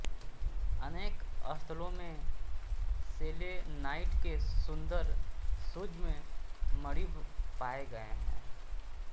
अनेक स्थलों में सेलेनाइट के सुंदर सूक्ष्म मणिभ पाए गए हैं